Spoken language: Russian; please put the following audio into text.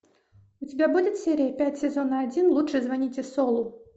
у тебя будет серия пять сезона один лучше звоните солу